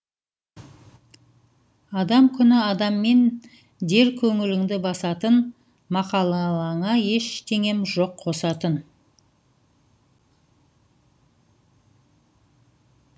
адам күні адаммен дер көңіліңді басатын мақалыңа ештеңем жоқ қосатын